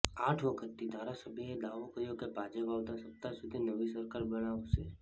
આઠ વખતથી ધારાસભ્યએ દાવો કર્યો કે ભાજપ આવતા સપ્તાહ સુધી નવી સરકાર બનાવશે